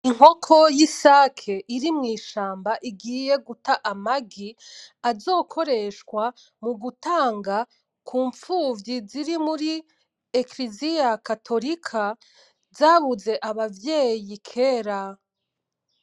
Inkoko y’isake iri mw’ishamba igiye guta amagi azokoreshwa mugutanga kupfuvyi ziri muri kiriziya katorika zabuze abavyeyi kera.